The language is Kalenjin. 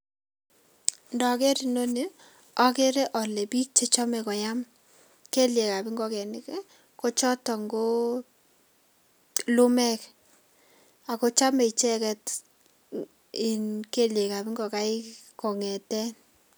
Ndoker inoni okere biik chechome koyam keliekab ngokenik ii kochoton koo lumek ako chome icheket iin keliekab ngokaik kong'eten.